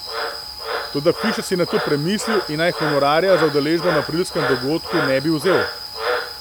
Toda Fišer si je nato premisli in naj honorarja za udeležbo na aprilskem dogodku ne bi vzel.